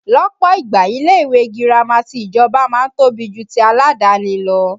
Lọ́pọ̀ ìgbà ilé ìwé girama ti ìjọba máa ń tóbi jù ti aládàáni lọ